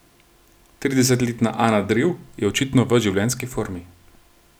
Tridesetletna Ana Drev je očitno v življenjski formi.